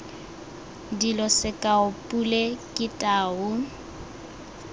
dilo sekao pule ke tau